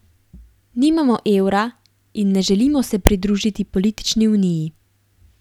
Nimamo evra in ne želimo se pridružiti politični uniji.